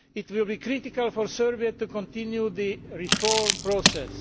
It will be critical for Serbia to continue the reform process.